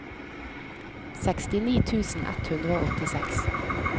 sekstini tusen ett hundre og åttiseks